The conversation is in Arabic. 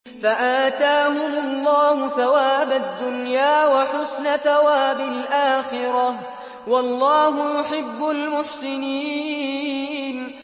فَآتَاهُمُ اللَّهُ ثَوَابَ الدُّنْيَا وَحُسْنَ ثَوَابِ الْآخِرَةِ ۗ وَاللَّهُ يُحِبُّ الْمُحْسِنِينَ